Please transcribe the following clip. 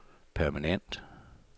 permanent